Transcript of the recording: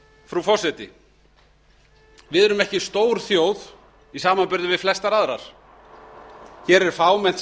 frú forseti við erum ekki stór þjóð í samanburði við flestar aðrar hér er fámennt